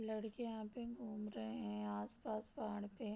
लड़के यहाँ पे घूम रहे हैं आस पास पहाड़ पे |